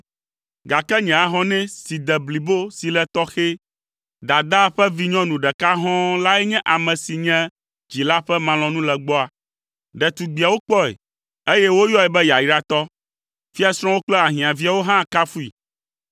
gake nye ahɔnɛ si de blibo si le tɔxɛ, dadaa ƒe vinyɔnu ɖeka hɔ̃ɔ lae nye ame si nye dzila ƒe malɔ̃nulegbɔa. Ɖetugbiawo kpɔe, eye woyɔe be yayratɔ; fiasrɔ̃wo kple ahiãviawo hã kafui.